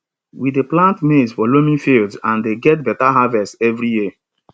we dey plant maize for loamy fields and dey get better harvest every year